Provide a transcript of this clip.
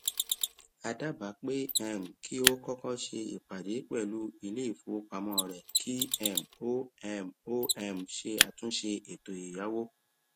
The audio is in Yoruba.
a dábàá pé um kí o kọkọ ṣe ìpadé pẹlú iléìfowópamọ rẹ kí um o um o um ṣe àtúnṣe ètò ẹyáwó